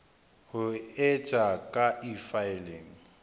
ho e etsa ka efiling